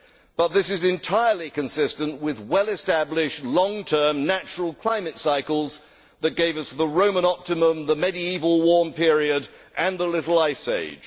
but this is entirely consistent with well established long term natural climate cycles that gave us the Roman Optimum, the Medieval Warm Period and the Little Ice Age.